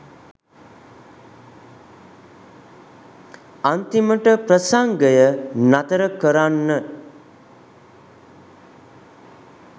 අන්තිමට ප්‍රසංගය නතර කරන්න